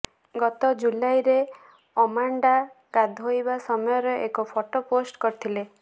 ଗତ ଜୁଲାଇରେ ଅମାଣ୍ଡା ଗାଧୋଇବା ସମୟର ଏକ ଫଟୋ ପୋଷ୍ଟ କରିଥିଲେ